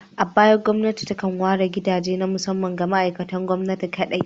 A baya, gwamnati takan ware gidaje na musamman ga ma'aikatan gwamnati su kaɗai.